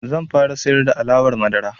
Zan fara siyar da alawar madara.